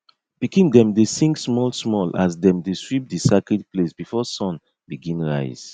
pikin dem dey sing smallsmall as dem dey sweep di sacred place before sun begin rise